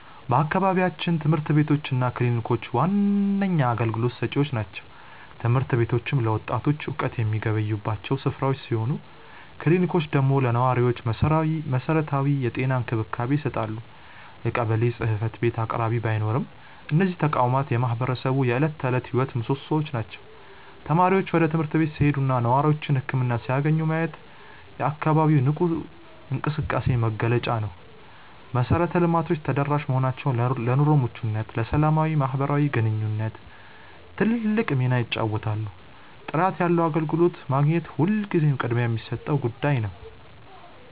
በአካባቢያችን ትምህርት ቤቶች እና ክሊኒኮች ዋነኛ አገልግሎት ሰጪዎች ናቸው። ትምህርት ቤቶቹ ለወጣቱ እውቀት የሚገበዩባቸው ስፍራዎች ሲሆኑ፣ ክሊኒኮቹ ደግሞ ለነዋሪው መሰረታዊ የጤና እንክብካቤ ይሰጣሉ። የቀበሌ ጽሕፈት ቤት በአቅራቢያ ባይኖርም፣ እነዚህ ተቋማት የማህበረሰቡ የዕለት ተዕለት ሕይወት ምሶሶዎች ናቸው። ተማሪዎች ወደ ትምህርት ቤት ሲሄዱና ነዋሪዎች ህክምና ሲያገኙ ማየት የአካባቢው ንቁ እንቅስቃሴ መገለጫ ነው። መሰረተ ልማቶቹ ተደራሽ መሆናቸው ለኑሮ ምቾትና ለሰላማዊ ማህበራዊ ግንኙነት ትልቅ ሚና ይጫወታሉ። ጥራት ያለው አገልግሎት ማግኘት ሁልጊዜም ቅድሚያ የሚሰጠው ጉዳይ ነው።